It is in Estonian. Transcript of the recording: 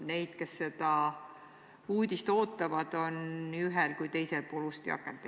Neid, kes seda uudist ootavad, on nii ühel pool kui ka teisel pool ust ja akent.